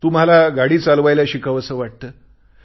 तुम्हाला गाडी चालवायला शिकावंस वाटते